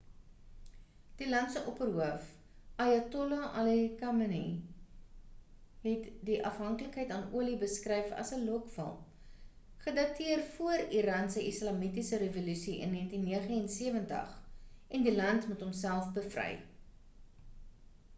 die land se opperhoof ayatollah ali khamenei het die afhanklikheid aan olie beskryf as 'n lokval' gedateer van voor iran se islamitiese revolusie in 1979 en die land moet homself bevry